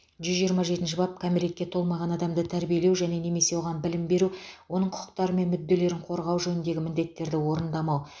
жүз жиырма жетінші бап кәмелетке толмаған адамды тәрбиелеу және немесе оған білім беру оның құқықтары мен мүдделерін қорғау жөніндегі міндеттерді орындамау